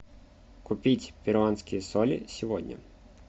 купить перуанские соли сегодня